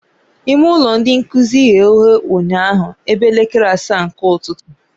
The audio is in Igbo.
Ime ụlọ ndị nkuzi ghe oghe ụnyaahụ ebe elekere asaa nke ụtụtụ